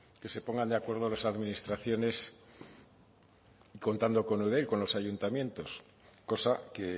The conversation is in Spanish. que se pongan de acuerdo las administraciones contando con eudel con los ayuntamientos cosa que